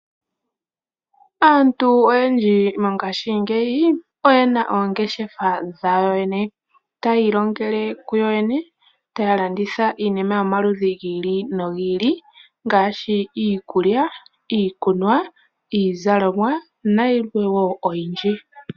Aantu oyendji mongashiingeyi oye na oongeshefa dhawo yene taya ilongele ku yo yene taya landitha iinima yomaludhi gi ili nogi ili ngaashi iikulya, iikunwa, iizalomwa na yikwawo oyindji.